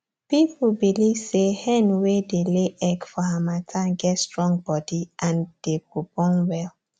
people belive say hen wey dey lay egg for harmattan get strong body and dey go born well